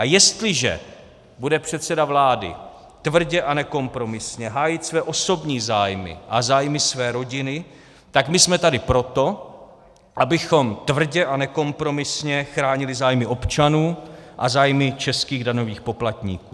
A jestliže bude předseda vlády tvrdě a nekompromisně hájit své osobní zájmy a zájmy své rodiny, tak my jsme tady proto, abychom tvrdě a nekompromisně chránili zájmy občanů a zájmy českých daňových poplatníků.